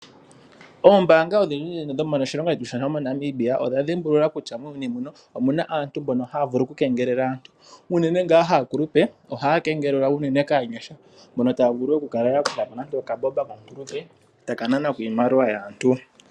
Oombaanga odhindji dhomoshilongo shetu shaNamibia odha dhimbulula kutya muuyuni omu na aantu mbono haya vulu okukeengelela aantu. Unene ngaa aakulupe ohaya vulu oku keengelelwa kaanyasha mbono taya vulu okuyaka po okambomba komukulupe e taya ka nana ko iimaliwa yaantu.